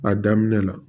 A daminɛ la